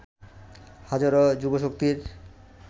হাজারো যুবশক্তির